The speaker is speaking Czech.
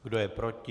Kdo je proti?